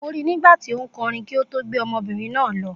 Mo ri nígbàtí ó nkorin kí o tó gbé ọmọbìnrin náà lọ